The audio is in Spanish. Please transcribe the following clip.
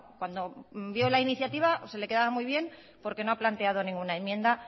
cuando vio la iniciativa se le quedaba muy bien porque no ha planteado ninguna enmienda